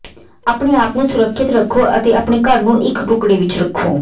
ਆਪਣੇ ਆਪ ਨੂੰ ਸੁਰੱਖਿਅਤ ਰੱਖੋ ਅਤੇ ਆਪਣੇ ਘਰ ਨੂੰ ਇਕ ਟੁਕੜੇ ਵਿਚ ਰੱਖੋ